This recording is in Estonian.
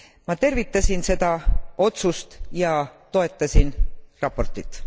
Ma tervitasin seda otsust ja toetasin raportit.